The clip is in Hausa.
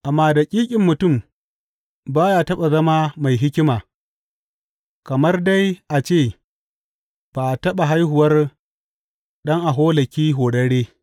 Amma daƙiƙin mutum ba ya taɓa zama mai hikima kamar dai a ce ba a taɓa haihuwar ɗan aholaki horarre.